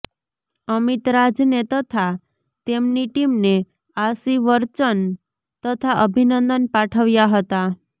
અમીતરાજને તથા તેમની ટીમને આશીવર્ચન તથા અભીનંદન પાઠવ્યા હતા